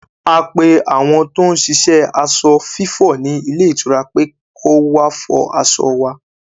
A pe àwọn tó ń ṣiṣẹ́ aṣọ fífọ̀ ní ilé ìtura pé kọ́ wá fọ aṣọ wa